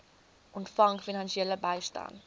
ontvang finansiële bystand